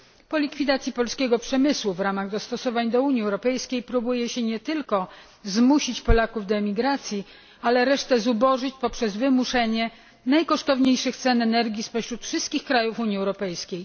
Po likwidacji polskiego przemysłu w ramach dostosowań do Unii Europejskiej próbuje się nie tylko zmusić Polaków do emigracji, ale resztę zubożyć poprzez wymuszenie najwyższych cen energii spośród wszystkich państw Unii Europejskiej.